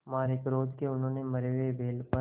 मारे क्रोध के उन्होंने मरे हुए बैल पर